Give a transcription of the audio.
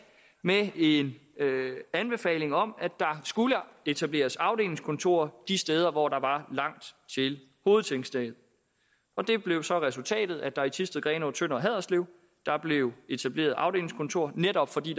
med en anbefaling om at der skulle etableres afdelingskontorer de steder hvor der var langt til hovedtingstedet og det blev så resultatet at der i thisted grenaa tønder og haderslev blev etableret afdelingskontorer netop fordi